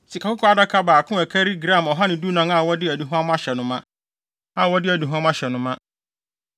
sikakɔkɔɔ adaka baako a ɛkari gram ɔha ne dunan (114) a wɔde aduhuam ahyɛ no ma;